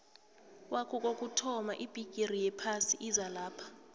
kwaku kokuthoma ibigiri yephasi izalapha